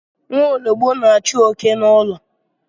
Nwaologbo na-achụ oké n'ụlọ.